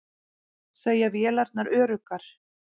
Segja vélarnar öruggar